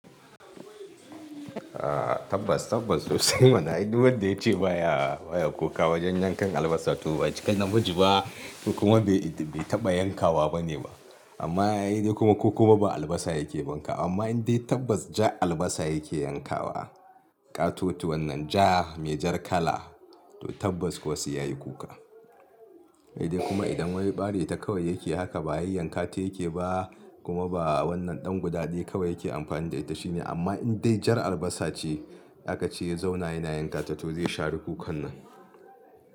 Tabbas tabbas sosai mana, ai duk wanda yace baya baya kuka wajen yankan albasa to ba cika namiji ba. Kuma bai bai taɓa yankawa bane ba. Amma ai dai kuma ko kuma ba albasa yake bankawa. Amma in dai tabbas ja albasa yake yankawa, ƙatotuwan nan ja mai jar kala to tabbas kuwa sai yayi kuka. Sai dai kuma idan wai ɓari ta kawai yake haka ba yayyan kata yake ba kuma ba wannan ɗan guda ɗaya kawai yake amfani da ita shine. Amma in dai jar albasa ce aka ci ya zauna yana yankata to zai share kukan nan.